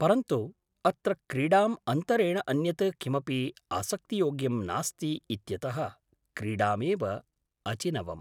परन्तु, अत्र क्रीडाम् अन्तरेण अन्यत् किमपि आसक्तियोग्यं नास्ति इत्यतः क्रीडामेव अचिनवम्